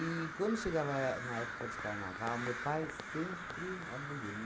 quando chegava a é na época de carnaval, meu pai sempre aboliu.